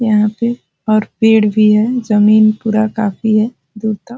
यहाँ पे और पेड़ भी है जमीन पूरा काफी है दूर तक ।